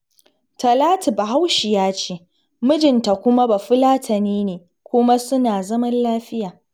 Talatu Bahaushiya ce, mijinta kuma Bafulatani ne kuma suna zaman lafiya